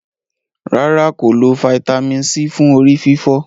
ràrá kò lọ Vitamin c fún orí-fífọ́.